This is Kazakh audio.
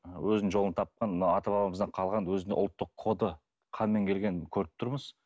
ы өзін жолын тапқан мына ата бабамыздан қалған өзіне ұлттық коды қанмен келгенін көріп тұрмыз